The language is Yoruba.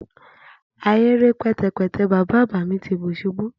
ahere pẹtẹpẹtẹ baba agba mi ti bi ṣubu